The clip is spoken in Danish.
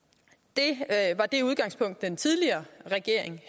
det var det udgangspunkt den tidligere regering